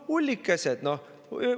Ullikesed, noh!